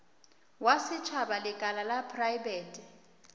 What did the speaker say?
wa setšhaba lekala la praebete